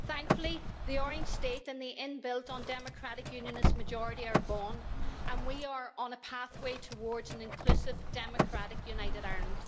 Thankfully, the Orange State and the inbuilt undemocratic Unionist majority are gone, and we are on a pathway towards an inclusive, democratic United Ireland.